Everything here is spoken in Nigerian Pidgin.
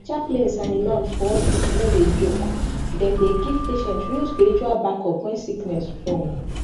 chaplains and imams for hospital no dey joke dem dey give patients real spiritual backup when sickness strong